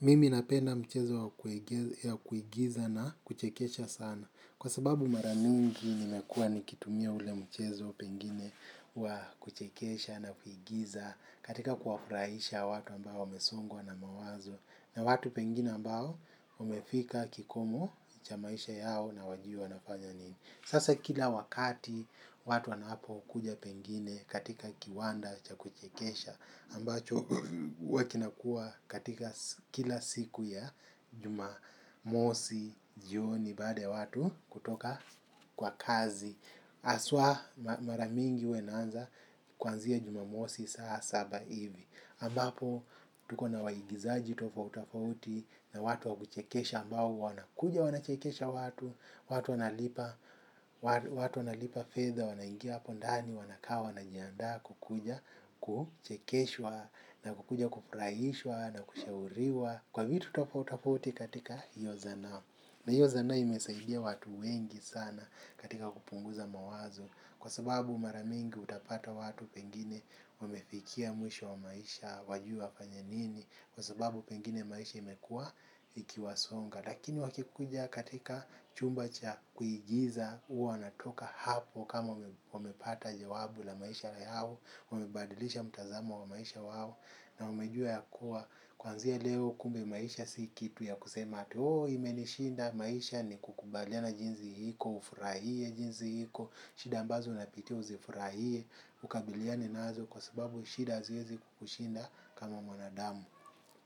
Mimi napenda mchezo wa kuigiza na kuchekesha sana. Kwa sababu maramingi nimekua nikitumia ule mchezo pengine wa kuchekesha na kuigiza katika kuwa furahisha watu ambao wamesongwa na mawazo. Na watu pengine ambao wamefika kikomo cha maisha yao na wajui wanafanya nini. Sasa kila wakati watu wanapo kuja pengine katika kiwanda cha kuchekesha ambacho huwa kinakua katika kila siku ya jumamosi jioni baada ya watu kutoka kwa kazi haswa mara mingi huwa inaanza kwanzia jumamosi saa saba hivi ambapo tuko na waigizaji tofau tofauti na watu wa kuchekesha ambao wanakuja wanachekesha watu watu. Watu wanalipa fedha wanaingia hapo ndani wanaka wanajianda kukuja kuchekeshwa na kukuja kufurahishwa na kushauriwa kwa vitu tofauti tofauti katika hiyo zana. Na hiyo zana imesaidia watu wengi sana katika kupunguza mawazo kwa sababu mara mingi utapata watu pengine wamefikia mwisho wa maisha wajui wafanye nini kwa sababu pengine maisha imekua ikiwasonga. Lakini wakikuja katika chumba cha kuigiza huwa natoka hapo kama wamepata jawabu la maisha yao. Wamebadilisha mtazamo wa maisha wao na wamejua yakuwa kwanzia leo kumbe maisha si kitu ya kusema ati imenishinda maisha ni kukubaliana jinsi iko. Ufurahie jinsi iko, shida ambazo unapitia uzifurahie, ukabiliane nazo. Kwa sababu shida haziwezi kukushinda kama mwanadamu